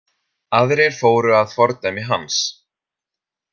Aðrir fóru að fordæmi hans.